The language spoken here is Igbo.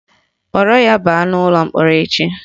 Kpọrọ ya baa ụlọ mkpọrọ echi!